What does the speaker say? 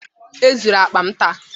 E zuru akpa m taa